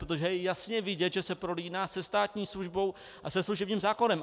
Protože je jasně vidět, že se prolíná se státní službou a se služebním zákonem.